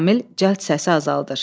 Şamil cəld səsi azaldır.